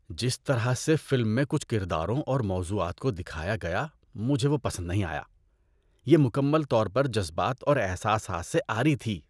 جس طرح سے فلم میں کچھ کرداروں اور موضوعات کو دکھایا گیا مجھے وہ پسند نہیں آیا۔ یہ مکمل طور پر جذبات اور احساسات سے عاری تھی۔